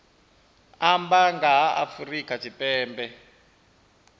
amba nga ha afrika tshipembe